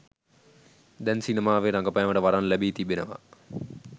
දැන් සිනමාවේ රඟපෑමට වරම් ලැබී තිබෙනවා.